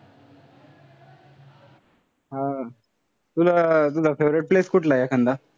हा. तुला तुझा favorite place कुठला आहे थंड?